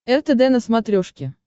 ртд на смотрешке